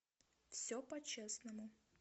все по честному